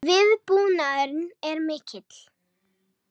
Viðbúnaðurinn er mikill